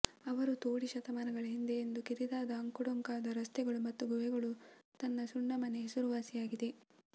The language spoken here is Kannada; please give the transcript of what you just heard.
ಅವರು ತೋಡಿ ಶತಮಾನಗಳ ಹಿಂದೆ ಎಂದು ಕಿರಿದಾದ ಅಂಕುಡೊಂಕಾದ ರಸ್ತೆಗಳು ಮತ್ತು ಗುಹೆಗಳು ತನ್ನ ಸುಣ್ಣ ಮನೆ ಹೆಸರುವಾಸಿಯಾಗಿದೆ